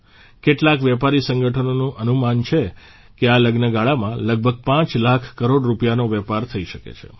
કેટલાક વેપારી સંગઠનોનું અનુમાન છે કે આ લગ્નગાળામાં લગભગ પાંચ લાખ કરોડ રૂપિયાનો વેપાર થઇ શકે છે